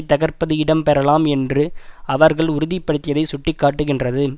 தகர்ப்பது இடம்பெறலாம் என்று அவர்கள் உறுதிப்படுத்தியதை சுட்டிக்காட்டுகின்றது